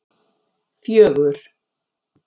fjögur